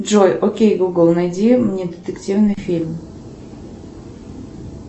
джой окей гугл найди мне детективный фильм